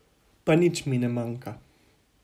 Pa mi nič ne manjka.